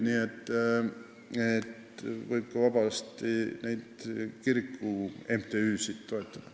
Nii et vabalt võib ka neid kiriku MTÜ-sid toetada.